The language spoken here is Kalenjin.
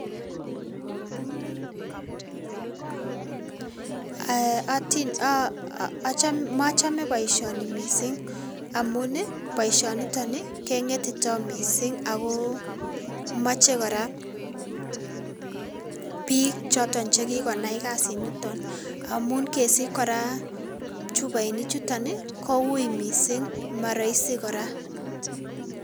Um mochome boishoni mising amun boishoni niton keng'etito mising ak ko moche kora biik chekikonai kasiniton, amun kesich kora chuboini chuton koui mising moroisi kora.